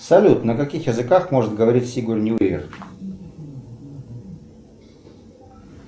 салют на каких языках может говорить сигурни уивер